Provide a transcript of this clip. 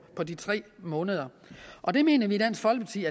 på de tre måneder og det mener vi i dansk folkeparti